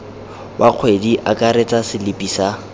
wa kgwedi akaretsa selipi sa